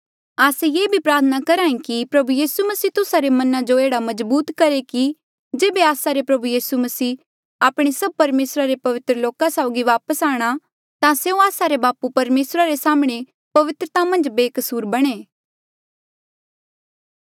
आस्से ये भी प्रार्थना करहे कि प्रभु यीसू मसीह तुस्सा रे मना जो एह्ड़ा मजबूत करहे कि जेबे आस्सा रे प्रभु यीसू आपणे सभ परमेसरा रे पवित्र लोका साउगी वापस आये ता स्यों आस्सा रे बापू परमेसरा रे साम्हणें पवित्रता मन्झ बेकसूर बणें